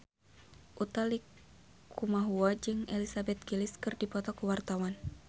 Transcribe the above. Utha Likumahua jeung Elizabeth Gillies keur dipoto ku wartawan